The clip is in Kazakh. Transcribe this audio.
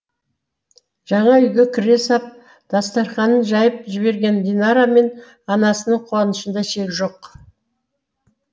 жаңа үйге кіре сап дастарханын жайып жіберген динара мен анасының қуанышында шек жоқ